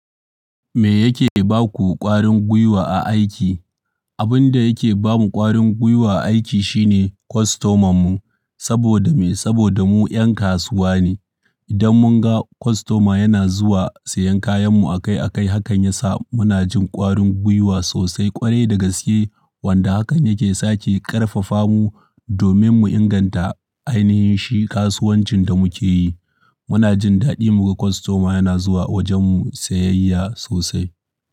Me yake baku ƙwarin gwiwa a aiki? Abin da yake bamu ƙwarin gwiwa a aiki shine kostoman mu saboda me? Saboda mu 'yan kasuwa ne. Idan mun ga kostoma yana zuwa sayen kayan mu akai akai, hakan ya sa muna jin ƙwarin gwiwa sosai ƙwarai da gaske. Wanda hakan yake sake ƙarfafa mu domin mu inganta ainihin shi kasuwancin da muke yi. Muna jin daɗi muga kostoma yana zuwa wajen mu sayayya sosai.